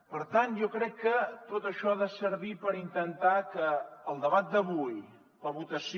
per tant jo crec que tot això ha de servir per intentar que el debat d’avui la votació